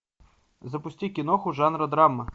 запусти киноху жанра драма